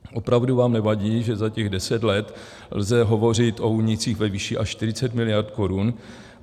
Opravdu vám nevadí, že za těch deset let lze hovořit o únicích ve výši až 40 miliard korun?